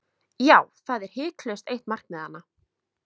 Já, það er hiklaust eitt markmiðanna.